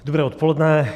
Dobré odpoledne.